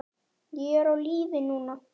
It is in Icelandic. Ég er á lífi núna.